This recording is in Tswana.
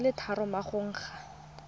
di le tharo morago ga